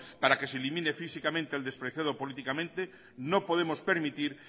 para que se elimine físicamente al despreciado políticamente no podemos permitir